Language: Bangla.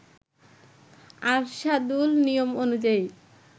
আরশাদুল নিয়ম অনুযায়ী